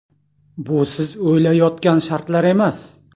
Bu siz o‘ylayotgan shartlar emas.